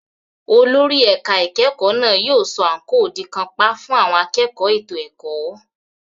Olórí ẹ̀ka ìkẹ́kọ̀ọ́ náà yóò sọ àǹkóò di kàńpá fún àwọn akẹ́kọ̀ọ́ ètò ẹ̀kọ́.